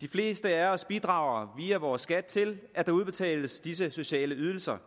de fleste af os bidrager via vores skat til at der udbetales disse sociale ydelser